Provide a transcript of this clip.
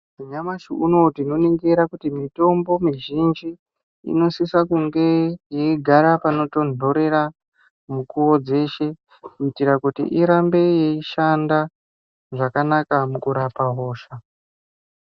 Nyamashi unowu tinoningira kuona kuti mitombo mizhinji inosisa kunge yeigara panotondorera mukuwo dzeshe kuitira kuti irambe yeishanda zvakanaka mukurapa hosha.